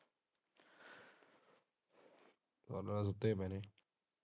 ਸਬ ਸੋਤੇ ਪਾਏ ਨੇ।